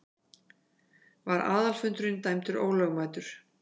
Var aðalfundurinn dæmdur ólögmætur.